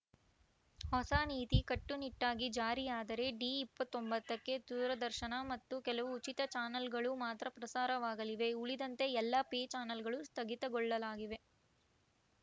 ಹೊಸ ನೀತಿ ಕಟ್ಟುನಿಟ್ಟಾಗಿ ಜಾರಿಯಾದರೆ ಡಿ ಇಪ್ಪತ್ತ್ ಒಂಬತ್ತಕ್ಕೆ ದೂರದರ್ಶನ ಮತ್ತು ಕೆಲವು ಉಚಿತ ಚಾನಲ್‌ಗಳು ಮಾತ್ರ ಪ್ರಸಾರವಾಗಲಿವೆ ಉಳಿದಂತೆ ಎಲ್ಲ ಪೇ ಚಾನಲ್‌ಗಳು ಸ್ಥಗಿತಗೊಳ್ಳಗಿವೆ